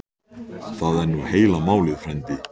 Það er nú heila málið frændi.